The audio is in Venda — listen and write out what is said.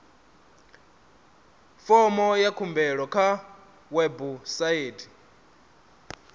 fomo ya khumbelo kha website